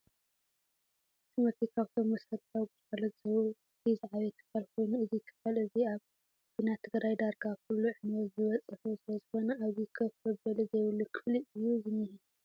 ትምህርቲ ካብቶም መሰረታዊ ግልጋሎት ዝህቡ እቲ ዝዓበየ ትካል ኮይኑ እዚ ትካል እዚ ኣብ ኩናት ትግራይ ዳርጋ ኩሉ ዕንወት ዝበፀሑ ስለዝኮነ ኣብዚ ኮፍ መበሊ ዘይብሉ ክፍሊ እዩ ዝኒሀ።